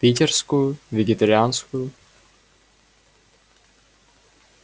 питерскую вегетарианскую